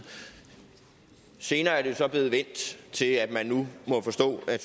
senere er det jo så blevet vendt til at vi nu må forstå at